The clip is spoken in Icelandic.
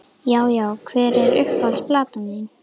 Já Já Hver er uppáhalds platan þín?